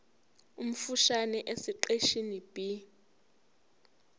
omfushane esiqeshini b